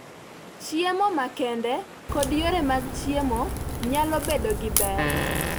Chiemo makende kod yore mag chiemo nyalo bedo gi ber.